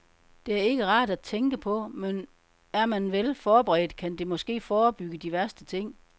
Det er ikke rart at tænke på, men er man vel forberedt, kan det måske forebygge de værste ting.